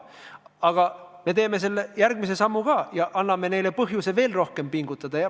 Aga meie teeme ka selle järgmise sammu ja anname neile põhjuse veel rohkem pingutada.